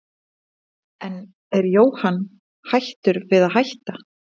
En er Jóhann hættur við að hætta?